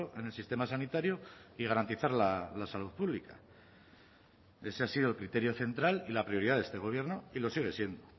en el sistema sanitario y garantizar la salud pública ese ha sido el criterio central y la prioridad de este gobierno y lo sigue siendo